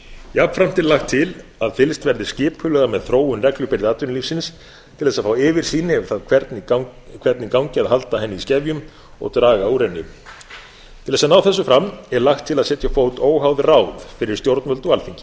jafnframt er lagt til að fylgst verði skipulega með þróun reglubyrði atvinnulífsins til þess að fá yfirsýn yfir það hvernig gangi að halda henni í skefjum og draga úr henni til þess að ná þessu fram er lagt til að setja á fót óháð ráð fyrir stjórnvöld og alþingi verður